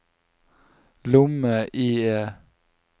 lomme-IE